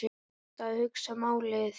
Best að hugsa málið.